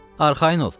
arxayın ol.